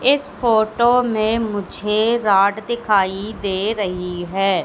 इस फोटो मे मुझे रॉड दिखाई दे रही है।